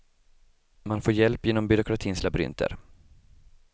Man får hjälp genom byråkratins labyrinter.